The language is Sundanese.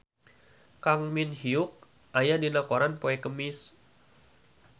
Kang Min Hyuk aya dina koran poe Kemis